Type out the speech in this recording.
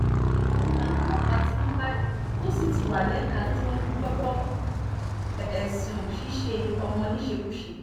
òun làwọn ọlọ́pàá ti mú báyìí tó sì ti wá lẹ́ka tó ń gbọ́ ẹ̀sùn ṣíṣe ọmọ níṣekúṣe